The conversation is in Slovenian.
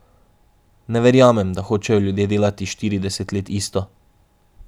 Ne verjamem, da hočejo ljudje delati štirideset let isto.